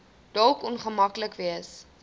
dalk ongemaklik wees